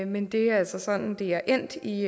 men det er altså sådan det er endt i